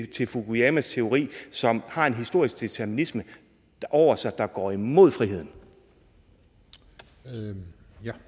til fukuyamas teori som har en historisk determinisme over sig der går imod friheden friheden